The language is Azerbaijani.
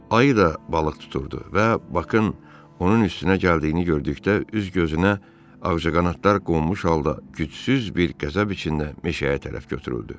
Ayı da balıq tuturdu və Bakın onun üstünə gəldiyini gördükdə üz gözünə ağcaqanadlar qonmuş halda gücsüz bir qəzəb içində meşəyə tərəf götürüldü.